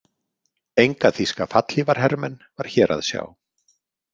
Enga þýska fallhlífarhermenn var hér að sjá.